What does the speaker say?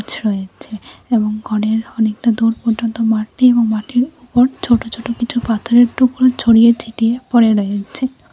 এবং অনেকটা দূর পর্যন্ত মাঠ নেই এবং মাঠের পর ছোট ছোট কিছু পাথরের টুকরো ছড়িয়ে ছিটিয়ে পরে রয়েছে।